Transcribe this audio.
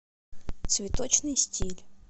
цветочный стиль